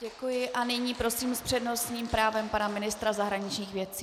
Děkuji a nyní prosím s přednostním právem pana ministra zahraničních věcí.